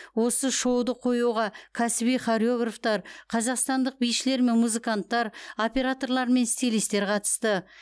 осы шоуды қоюға кәсіби хореографтар қазақстандық бишілер мен музыканттар операторлар мен стилистер қатысты